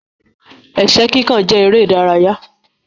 Ẹ̀ṣẹ́ kíkàn jẹ èrè ìdárayá.